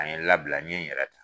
A ye n labila n ɲe yɛrɛ ta.